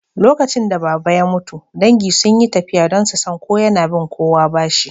Lokacin da Baba ya mutu, dangi sun yi tafiya don su san ko yana bin kowa bashi